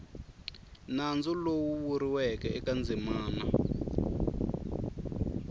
nandzu lowu vuriweke eka ndzimana